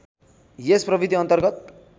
यस प्रविधि अन्तर्गत